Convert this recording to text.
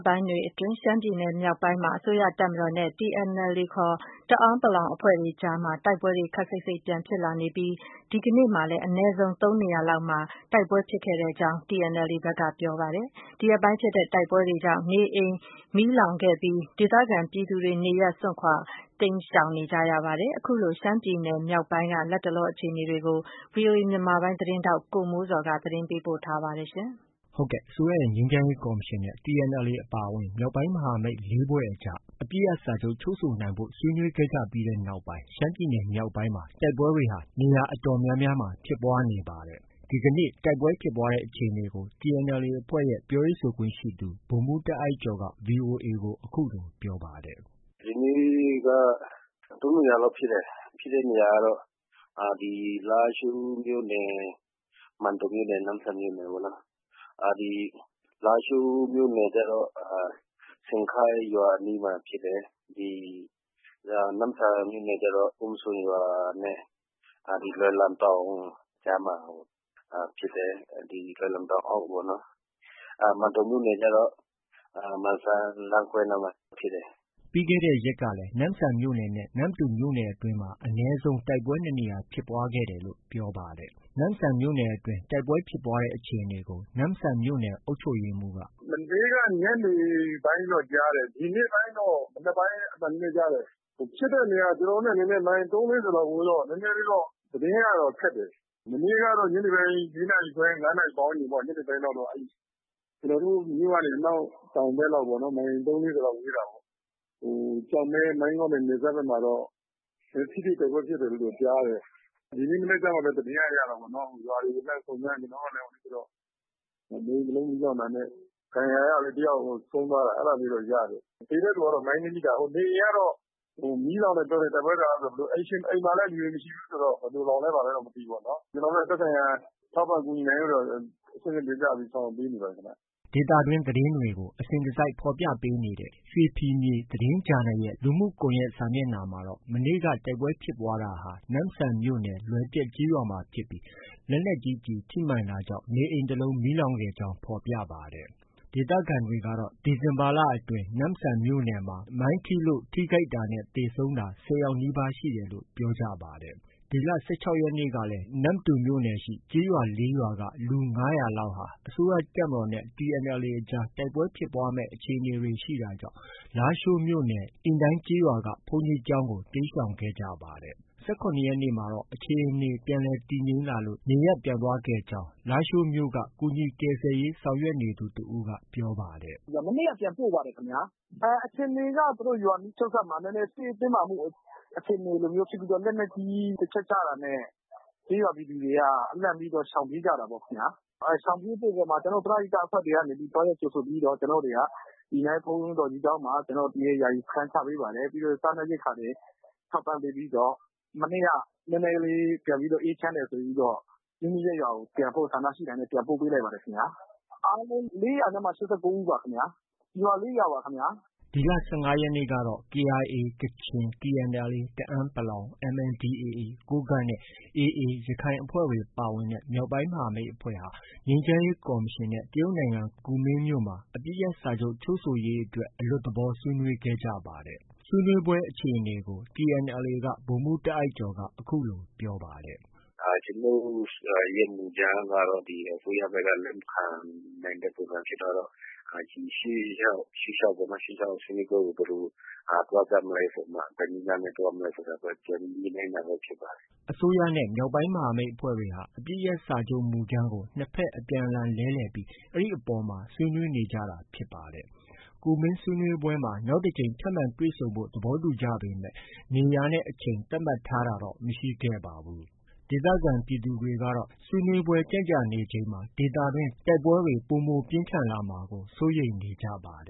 ပိုင်းတွေအတွင်း ရှမ်းပြည်နယ်မြောက်ပိုင်းမှာ အစိုးရတပ်မတော်နဲ့ TNLA ခေါ် တအာင်းပလောင်တပ် အဖွဲ့အကြားမှာ တိုက်ပွဲတွေ ခပ်စိတ်စိတ်ပြန် ဖြစ်လာနေပြီး ဒီကနေ့မှာလည်း အနည်းဆုံး ၃နေရာလောက်မှာ ဖြစ်ပွားခဲ့ကြောင်း TNLA ဘက်က ပြောပါတယ်။ ဒီရက်ပိုင်းဖြစ်တဲ့တိုက်ပွဲတွေကြောင့် လူနေအိမ်မီးလောင်တာ၊ ဒေသခံပြည်သူတွေ နေရပ်စွန့်ခွာတိမ်းရှောင်တာတွေလည်း ဖြစ်ခဲ့ပါတယ်။ ရှမ်းပြည်နယ်မြောက်ပိုင်းက လတ်တလောအခြေအနေတွေကို ဗွီအိုအေမြန်မာပိုင်းရဲ့ သတင်းထောက် ကိုမိုးဇော်က တင်ပြထားပါတယ်။ အစိုးရရဲ့ ငြိမ်းချမ်းရေးကော်မရှင် နဲ့ TNLA အပါအဝင် မြောက်ပိုင်းမဟာမိတ် ၄ဖွဲ့အကြား အပစ်ရပ်စာချုပ် ချုပ်ဆိုနိုင်ဖို့ ဆွေးနွေးခဲ့ကြပြီးနောက်ပိုင်း ရှမ်းပြည်နယ် မြောက်ပိုင်းမှာ တိုက်ပွဲတွေ နေရာအတော်များများမှာ ဖြစ်ပွားလာနေတာဖြစ်ပါတယ်။ ဒီကနေ့ တိုက်ပွဲဖြစ်ပွားတဲ့အခြေအနေကို TNLA အဖွဲ့ရဲ့ ပြောရေးဆိုခွင့်ရှိသူ ဗိုလ်မှူးတာအိုက်ကျော်က VOA ကို အခုလို ပြောပါတယ်။ “ ဒီနေ့က ၃နေရာလောက်ဖြစ်တယ်။ ဖြစ်တဲ့နေရာကတော့ ဒီ လားရှိုးမြို့နယ်၊ မန်တုံမြို့နယ်၊ နမ့်ဆန်မြို့နယ်ပေါ့။ ဒီ လားရှိုးမြို့နယ် ကျတော့ ရှန်ခိုက်ရွာအနီးမှာဖြစ်တယ်။ နမ့်ဆန်မြို့နယ်ကျတော့ အုံးစွန်ရွာနဲ့ ဒီ လွယ်လန်တောင် ကြားမှာဖြစ်တယ်။ လွယ်လန်တောင်အောက်ပေါ့။ မန်တုံမြို့နယ်ကျတော့ မန်စံလမ်းခွဲနားမှာဖြစ်တယ်။” ပြီးခဲ့တဲ့ရက်ကလည်း နမ့်ဆန်မြို့နယ်နဲ့ နမ္မတူမြို့နယ်အတွင်းမှာ အနည်းဆုံး တိုက်ပွဲ ၂နေရာ ဖြစ်ပွားခဲ့တယ်လို့ ပြောပါတယ်။ နမ့်ဆန်မြို့နယ်အတွင်း တိုက်ပွဲဖြစ်ပွားတဲ့ အခြေအနေကိုတော့ နမ့်ဆန် မြို့နယ်အုပ်ချုပ်မှူးက “မနေ့က ညနေပိုင်းတော့ ကြားတယ်။ ဒီနေ့ပိုင်းတော့ မနက်ပိုင်း အသံနည်းနည်း ကြားတယ်။ ဖြစ်တဲ့နေရာက ကျနော်တို့နဲ့ မိုင် ၃- ၄၀ လောက် ဝေးတော့ သတင်းကတော့ ခက်တယ်။ မနေ့ကတော့ ညနေပိုင်း ၄နာရီခွဲ၊ ၅နာရီပတ်ဝန်းကျင်လောက်ပေါ့။ ကျနော်တို့မြို့နဲ့ အနောက်တောင်ဘက်လောက်ပေါ့။ မိုင် ၃-၄၀လောက် ဝေးတာပေါ့ ကျောက်မဲ- မိုင်းငေါ့နဲ့ နယ်စပ်ဘက်မှာ ထိတွေ့တိုက်ပွဲဖြစ်တယ်လို့တော့ ကြားတယ်။ ဒီနေ့မနက်မှပဲ သတင်းကရတာပေါ့နော်။ ရွာတွေကို လှမ်းစုံစမ်းတော့ နေအိမ်တ လုံးမီးလောင်တာနဲ့ ဒဏ်ရာရသူ တယာက် ဆုံးသွားတာ အဲဒါလေးတော့ ရတယ်။ သေတဲ့သူကတော့ မိုင်းနင်းမိတာ။ နေအိမ်ကတော့ မီးလောင်တယ် ပြောတယ်။ တိုက်ပွဲကာလ ဆိုတော့။ အိမ်မှာလည်း လူတွေ မရှိဘူးဆိုတော့ ဘယ်လိုလောင်လဲ ဘာလဲတော့ မသိဘူးပေါ့နော်။ ကျနော်တို့လည်း သက်ဆိုင်ရာ ထောက်ပံ့ကူညီနိုင်ဖို့အတွက် အဆင့်ဆင့်တင်ပြပြီး ဆောင်ရွက်ပေးနေပါတယ်ခင်ဗျ။ ” ဒေသတွင်း သတင်းတွေကို အစဉ်တစိုက်ဖော်ပြပေးနေတဲ့ ရွှေဖီမြေသတင်းဂျာနယ်ရဲ့ လူမှုစာမျက်နှာမှာတော့ မနေ့က တိုက်ပွဲဖြစ်ပွားတာဟာ နမ့်ဆန်မြို့နယ်၊ လွယ်ပျက်ကျေးရွာမှာဖြစ်ပြီး လက်နက်ကြီးကျည် ထိမှန်တာကြောင့် မီးလောင်ခဲ့ကြောင်း ဖော်ပြပါတယ်။ ဒေသခံတွေကတော့ ဒီဇင်ဘာလအတွင်း နမ့်ဆန်မြို့နယ်အတွင်းမှာ မိုင်းထိလို့ ထိခိုက်တာနဲ့ သေဆုံးတာ ၁၀ယောက်နီးပါး ရှိတယ်လို့ ပြောပါတယ်။ ဒီလ ၁၆ရက်နေ့ကလည်း နမ္မတူမြို့နယ်ရှိ ကျေးရွာ ၄ရွာက လူ ၅၀၀လောက်ဟာ အစိုးရတပ်မတော်နဲ့ TNLA အကြား တိုက်ပွဲဖြစ်ပွားမယ့် အခြေအနေတွေ ရှိတာကြောင့် လားရှိုးမြို့နယ် အီနိုင်းကျေးရွာက ဘုန်းကြီးကျောင်းကို တိမ်းရှောင်ခဲ့ကြပါတယ်။ ၁၇ရက်နေ့မှာတော့ အခြေအနေ ပြန်လည် တည်ငြိမ်လာလို့ နေရပ်ပြန်သွားပြီးဖြစ်ကြောင်း လားရှိုးမြို့က ကူညီကယ်ဆယ်ရေး ဆောင်ရွက်နေသူ တစ်ဦးက ပြောပါတယ်။ “ မနေ့က ပြန်ပို့ပါတယ်ခင်ဗျာ။ အခြေအနေက သူတု့ိ ရွာနီးချုပ်စပ်မှာ စစ်ရေးတင်းမာမှု အခြေအနေမျိုးဖြစ်ပြီး လက်နက်ကြီး တစ်ချက်ကျတာနဲ့ ကျေးရွာပြည်သူတွေက လန့်ပြီးတော့ ရှောင်ပြေးကြတာပေါ့။ ရှောင်ပြေးမှုအပေါ်မှာ ကျနော်တို့ ပရဟိတအဖွဲ့တွေကနေပြီးတော့ သွားရောက်ကြိုဆိုပြီးတော့ ကျနော်တို့တွေက အီနိုင်းဘုန်းတော်ကြီးကျောင်းမှာ ယာယီစခန်းချပေးပါတယ်။ ပြီးတော့ စားနပ်ရိက္ခာတွေ ထောက်ပံ့ပေးပြီးတော့ မနေ့က နည်းနည်းလေး ပြန်ပြီးတော့ အေးချမ်းတယ် ဆိုပြီးတော့ မိမိရပ်ရွာကို ပြန်ဖို့ ဆန္ဒရှိတာနဲ့ ပြန်ပို့ပေးလိုက်ပါတယ်။ အားလုံး လေးရာနဲ့မှ ရှစ်ဆယ့်ကိုးဦးပါခင်ဗျ။ ရွာလေး ရွာပါခင်ဗျ။” ဒီလ ၁၅ရက်နေ့ကတော့ KIA ကချင်၊ TNLA တအာင်းပလောင်၊ MNDAAကိုးကန့်နဲ့ AA ရခိုင်အဖွဲ့တွေ ပါဝင်တဲ့ မြောက်ပိုင်း မဟာမိတ်အဖွဲ့ဟာ အစိုးရငြိမ်းချမ်းရေးကော်မရှင်နဲ့ တရုတ်နိုင်ငံကူမင်းမြို့မှာ အပစ်ရပ်စာချုပ်ချုပ် ဆိုရေးအတွက် အလွတ်သဘောဆွေးနွေးခဲ့ကြပါတယ်။ ဆွေးနွေးပွဲအခြေအနေကို TNLA က ဗိုလ်မှူးတာအိုက်ကျော်က အခုလို ပြောပါတယ်။ “ ကျနော်တို့ရဲ့ မူကြမ်းကတော့ အစိုးရဘက်က လက်မခံနိုင်တဲ့ ပုံစံဖြစ်သွားတော့ ရှေ့လျှောက်ဆွေးနွေးပွဲကို ဘယ်လို ပုံစံသွားကြမလဲဆိုပြီးတော့မှ ဘယ်နည်းလမ်းနဲ့ သွားမလဲဆိုတာ ပြန်ပြီး ညှိနှိုင်းတာပဲ ဖြစ်ပါတယ်။” အစိုးရနဲ့ မြောက်ပိုင်းအဖွဲ့တွေဟာ အပစ်ရပ်စာချုပ်မူကြမ်းကို နှစ်ဘက် အပြန်အလှန်လဲလှယ်ပြီး အဲဒီအပေါ်မှာ ဆွေးနွေးနေကြတာဖြစ်ပါတယ်။ ကူမင်းဆွေးနွေးပွဲမှာ နောက်တစ်ထပ်မံ တွေ့ဆုံဖို့ သဘောတူကြပေမဲ့ နေရာနဲ့ အချိန် သတ်မှတ်ထားတာတော့ မရှိခဲ့ပါဘူး။ ဒေသခံပြည်သူတွေကတော့ ဆွေးနွေးပွဲကြန့်ကြာနေချိန်မှာ ဒေသတွင်း တိုက်ပွဲတွေ ပိုမိုပြင်းထန်လာမှာကို စိုးရိမ်နေကြပါတ